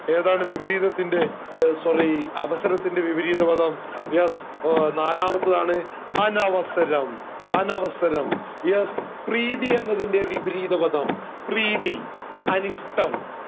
ഏതാണ് വിപരീതത്തിൻറെ ഏർ sorry അവസരത്തിന്റെ വിപരീതപദം yes നാലാമത്തതാണ് അനവസരം അനവസരം yes പ്രീതി എന്നതിന്റെ വിപരീതപദം പ്രീതി അനിഷ്ടം